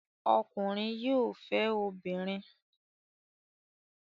Ọkùnrin yóò fẹ́ obìnrin.